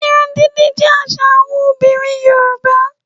Irun dídì jẹ́ àṣà àwọn obìnrin Yorùbá